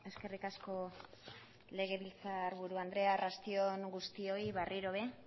eskerrik asko legebiltzarburu anderea arratsalde on guztioi berriro ere